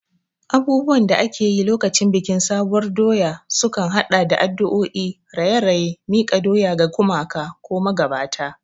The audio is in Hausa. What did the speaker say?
Abubuwan da ake yi lokacin bikin sabuwar doya sukan haɗa da addu'o'i, raye-raye, miƙa doya ga gumaka ko magabata.